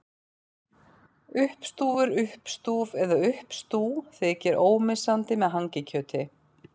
Uppstúfur, uppstúf eða uppstú þykir ómissandi með hangikjöti.